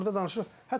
Yəni burda danışırıq.